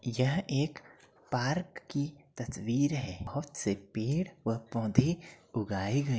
यह एक पार्क की तस्वीर है जहां पर बहुत से पेड़ और पौधे उगाए गए हैं।